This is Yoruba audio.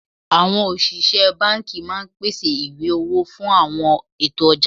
Àwọn òṣìṣẹ́ banki máa ń pèsè ìwé owó fún àwọn ètò ọjà